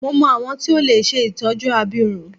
Mo mọ awọn tí o lè ṣe itọju abirùn.